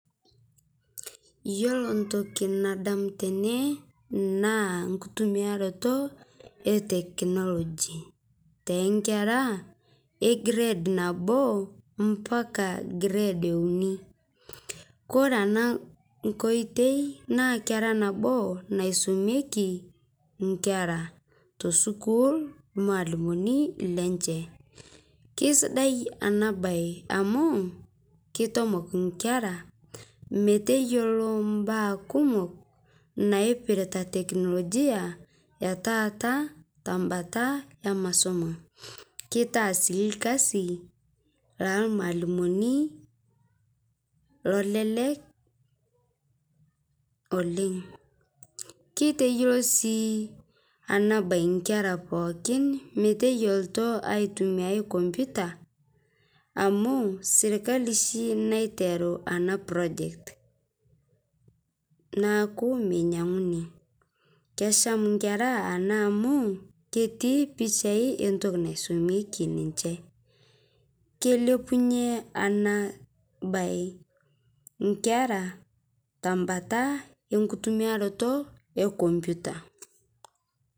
Iyolo ntoki nadamu tene naa nkitumiaroto e technology, te nkera e grade naboo mpaka grade eunii, kore anaa nkoitei, naa kera naboo naisomieki nkera tesukuul lmaalimoni lenshe ,keisidai ana bai amu keitomok nkera meteyolo mbaa kumok naipirita teknologia, etaata tambata emasomo, keitaa sii lkazi lalmaalimoni lolelek oleng', keiteyoloo sii ana bai nkera pooki meteyolto aitumiai computer, amu sirkali shi naiteru ana project naaku meinyang'uni kesham nkera ana amu ketii pichai entoki naisomieki ninshe. Keilepunye ana bai nkera tembataa enkutumiarotoo e computer.